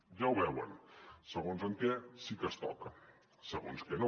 ja ho veuen segons en què sí que es toca segons què no